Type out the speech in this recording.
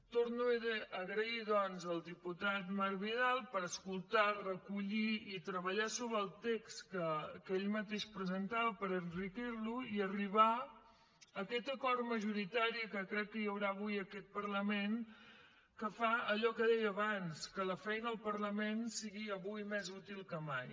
torno a donar les gràcies doncs al diputat marc vidal per escoltar recollir i treballar sobre el text que ell mateix presentava per enriquir lo i arribar a aquest acord majoritari que crec que hi haurà avui en aquest parlament que fa allò que deia abans que la feina al parlament sigui avui més útil que mai